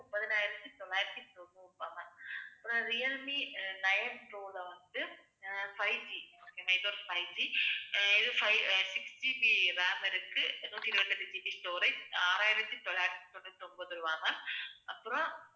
அஹ் Realme nine pro ல வந்துட்டு, அஹ் fiveG fiveG இது five அஹ் 6GB RAM இருக்கு. நூத்தி இருபத்து எட்டு GB storage ஆறாயிரத்தி தொள்ளாயிரத்தி தொண்ணூத்தி ஒன்பது ரூபாய் ma'am. அப்புறம்